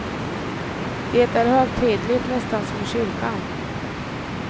Det är högtidligt, nästan som i kyrkan.